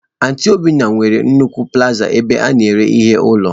Aunty obioma nwere nnukwu plazaa ebe a na-ere ihe ụlọ